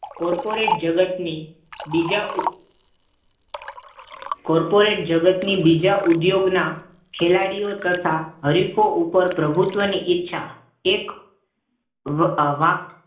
corporate જગતની બીજા corporate જગતની બીજા કોર્પોરેટ જગતની બીજા ઉદ્યોગના ખેલાડીઓ તથા હરીફો પર પ્રભુત્વની ઈચ્છા એક વાક